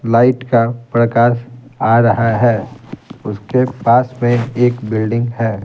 Light का प्रकाश आ रहा है उसके पास में एक बिल्डिंग है।